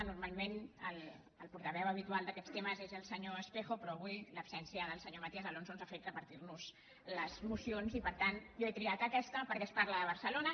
normalment el portaveu ha·bitual d’aquests temes és el senyor espejo però avui l’absència del senyor matías alonso ens ha fet repar·tir·nos les mocions i per tant jo he triat aquesta per·què es parla de barcelona